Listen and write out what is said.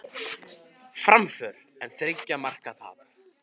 Framför en þriggja marka tap